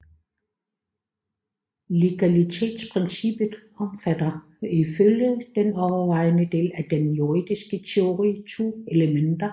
Legalitetsprincippet omfatter ifølge den overvejende del af den juridiske teori to elementer